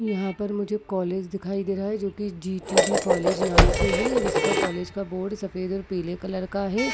यहाँ पर मुझे कॉलेज दिखाई दे रहा है जो की ज़ी टी_वी कॉलेज नाम से है इसका कॉलेज का बोर्ड सफेद और पीले कलर का है।